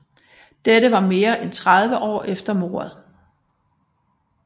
Dette var mere end 34 år efter mordet